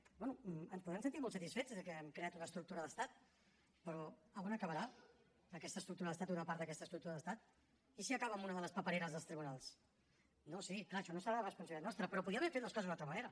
bé ens podem sentir molt satisfets de que hem creat una estructura d’estat però a on acabarà aquesta estructura d’estat o una part d’aquesta estructura d’estat i si acaba en una de les papereres dels tribunals no sí clar això no serà responsabilitat nostra però es podrien haver fet les coses d’una altra manera